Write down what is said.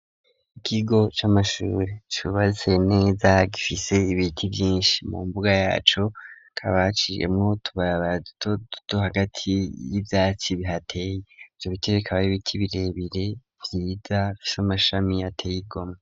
Ikigo c'amashure cubatse neza gifise ibiti vyinshi mu mbuga yaco hakaba haciyemwo utubarabara duto duto hagati y'ivyatsi bihateye ivyo biti bikaba ari ibiti birebire vyiza bifise amashami ateye igomwe.